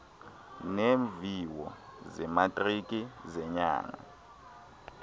neemviwo zematriki zenyanga